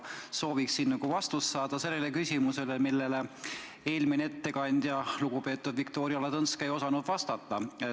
Sooviksin vastust saada küsimusele, millele eelmine ettekandja, lugupeetud Viktoria Ladõnskaja ei osanud vastata.